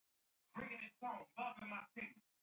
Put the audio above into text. En sú